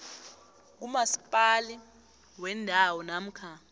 kumasipala wendawo namkha